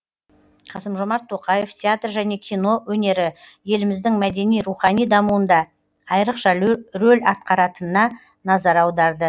қасым жомарт тоқаев театр және кино өнері еліміздің мәдени рухани дамуында айрықша рөл атқаратынына назар аударды